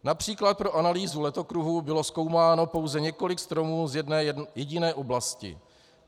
Například pro analýzu letokruhů bylo zkoumáno pouze několik stromů z jedné jediné oblasti.